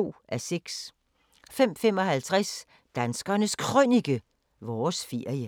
05:55: Danskernes Krønike – Vores ferie